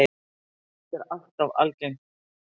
Þetta er alltof algengt.